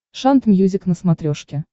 шант мьюзик на смотрешке